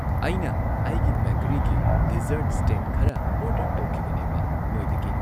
ꯑꯩꯅ ꯑꯩꯒꯤ ꯕꯦꯀꯔꯤꯒꯤ ꯗꯤꯖꯔꯠ ꯁ꯭ꯇꯦꯟ ꯈꯔ ꯑꯣꯔꯗꯔ ꯇꯧꯈꯤꯕꯅꯦꯕ ꯅꯣꯏꯗꯒꯤ